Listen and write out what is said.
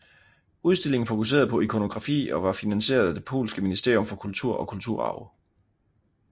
Udstillingen fokuserede på ikonografi og var finansieret af det polske ministerium for kultur og kulturarv